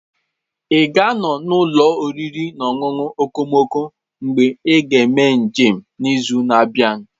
Ị ga-anọ n'ụlọ oriri na ọṅụṅụ okomoko mgbe ị ga-eme njem n'izu na-abịa?